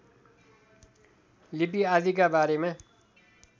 लिपि आदिका बारेमा